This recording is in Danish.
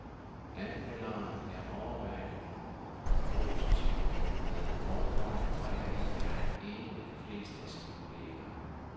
Anmelderen er overvejende positiv, men med forbehold, og heri er han enig med de fleste af sine kolleger.